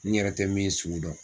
N yɛrɛ tɛ min sugu dɔn.